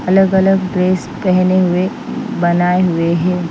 अलग-अलग ड्रेस पहने हुएबनाए हुए हैं।